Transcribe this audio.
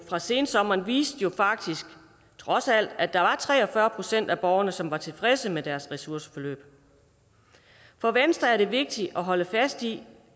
fra sensommeren viste jo faktisk trods alt at der var tre og fyrre procent af borgerne som var tilfredse med deres ressourceforløb for venstre er det vigtigt at holde fast i